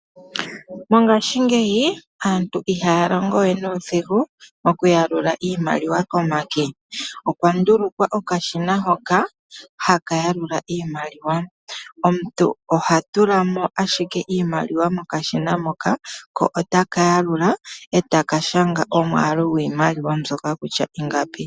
Mongaashingeyi aantu ihaya longo we nuudhigu okuyalula iimaliwa komake, okwa ndulukwa okashina hoka haka yalula iimaliwa. Omuntu oha tula mo ashike iimaliwa mokashina moka ko otaka yalula eta ka shanga omwaalu gwiimaliwa mbyoka kutya ingapi.